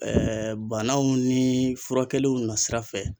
banaw ni furakɛliw nasira fɛ